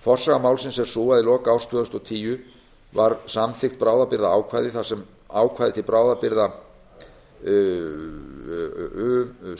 forsaga málsins er sú að í lok árs tvö þúsund og tíu var samþykkt bráðabirgðaákvæði það er ákvæði til bráðabirgða